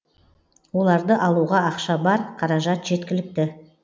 оларды алуға ақша бар қаражат жеткілікті